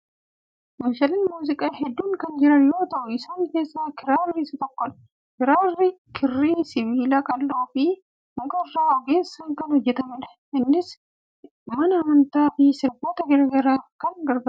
Meeshaaleen muuziqaa hedduun kan jiran yoo ta'u, isaan keessaa kiraarri isa tokkodha. Kiraarri kirrii sibiila qaqal'oo fi muka irraa ogeessaan kan hojjetamudha. Innis mana amantaa fi sirboota garaa garaaf kan gargaarudha.